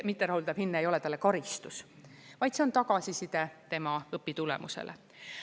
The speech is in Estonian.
Mitterahuldav hinne ei ole talle karistus, vaid see on tagasiside tema õpitulemustele.